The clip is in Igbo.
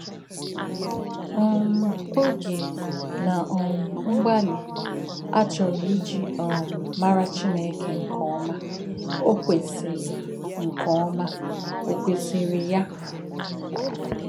um Ògé na um mgbálị̀ ā chọ́rọ̀ íjì um má̄rà Chínèkè nkè̄ọ́má̄ ò kwèsí̄rì nkè̄ọ́má̄ ò kwèsí̄rì yā?